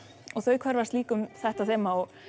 og þau hverfast líka um þetta þema